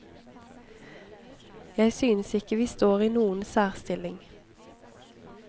Jeg synes ikke vi står i noen særstilling.